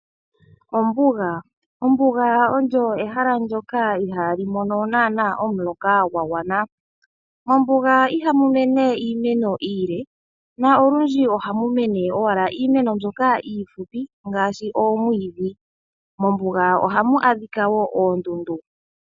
Ombuga, ombuga olyo ehala ndyoka ihaa li mono naana omuloka gwa gwana. Mombuga iha mu mene iimeno iile, na olundji oha mu mene owala iimeno mbyoka iifupi, ngaashi oomwiidhi. Mombuga oha mu adhika wo oondundu.